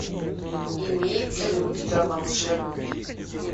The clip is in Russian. имеется ли у тебя волшебники